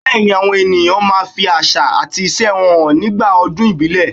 Bẹẹni àwọn èèyàn máa ń fi àṣà àti ìṣe wọn hàn nígbà ọdún ìbílẹ̀.